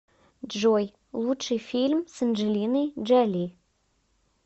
джой лучший фильм с анджелиной джоли